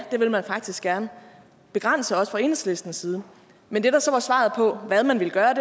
det vil man faktisk gerne begrænse også fra enhedslistens side men det der så var svaret på hvad man ville gøre